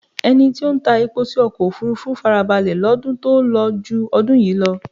Ẹni tí ó ń ta epo sí ọkọ̀ òfúrúfú farabalẹ̀ lọ́dún tó lọ ju ọdún yìí lọ.